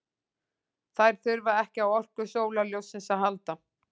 Þær þurfa ekki á orku sólarljóssins að halda.